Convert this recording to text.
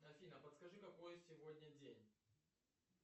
афина подскажи какой сегодня день